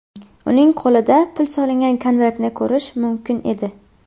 Uning qo‘lida pul solingan konvertni ko‘rish mumkin edi.